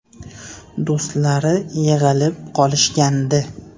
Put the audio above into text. Do‘stlari yig‘ilib qolishgandi.